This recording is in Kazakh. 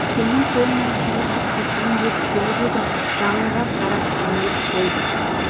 сенің қолыңнан шай ішіп кетейін деп келіп едім жаңылға қарап жымиып қойды